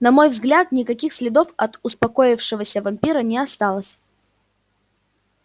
на мой взгляд никаких следов от упокоившегося вампира не осталось